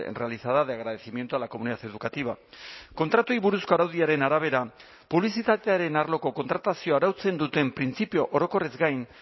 realizada de agradecimiento a la comunidad educativa kontratuei buruzko araudiaren arabera publizitatearen arloko kontratazioa arautzen duten printzipio orokorrez gain